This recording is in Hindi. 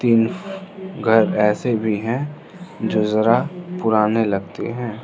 कुछ घर ऐसे भी हैं जो जरा पुराने लगते हैं।